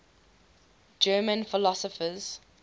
german philosophers